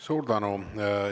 Suur tänu!